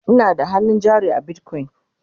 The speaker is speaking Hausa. Ina da hannun jari a bitcoin